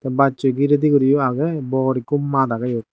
bassoi giredi guriyo aagey bor ekko maat aagey eyot.